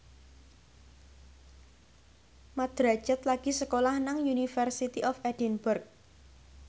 Mat Drajat lagi sekolah nang University of Edinburgh